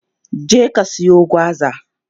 Je ka siyo gwaza!